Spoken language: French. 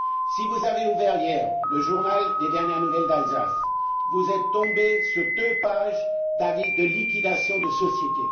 Si vous avez ouvert hier Les Dernières nouvelles d'Alsace vous êtes tombés sur deux pages d'avis de liquidation de société.